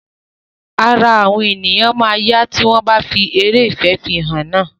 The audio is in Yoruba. Ara àwọn ènìyàn máa yá tí wọ́n bá tí eré ìfìfẹ́hàn náà.